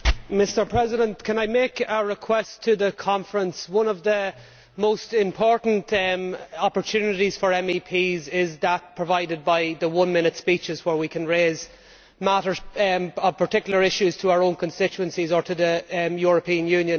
Mr President, can I make a request to the Conference of Presidents? One of the most important opportunities for MEPs is that provided by the one minute speeches, where we can raise issues of particular interest to our own constituencies or to the European Union.